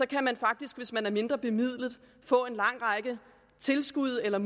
kan man faktisk hvis man er mindrebemidlet få en lang række tilskud og